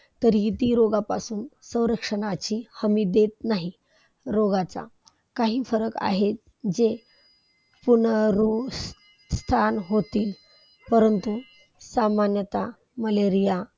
तरी हि ती रोगापासून संरक्षणाची हमी देत नाही. रोगाचा काही फरक आहे जे पुनरोस्तान होतील परंतु सामन्यात Malaria